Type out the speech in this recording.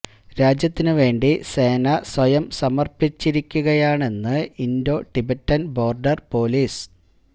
രാജ്യത്തിന് വേണ്ടി സേന സ്വയം സമര്പ്പിച്ചിരിക്കുകയാണെന്ന് ഇന്ഡോ ടിബറ്റന് ബോര്ഡര് പോലീസ്